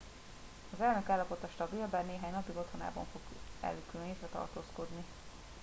az elnök állapota stabil bár néhány napig otthonában fog elkülönítve tartózkodni